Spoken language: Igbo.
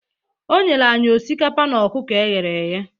O nyere anyị osikapa na ọkụkọ e ghere eghe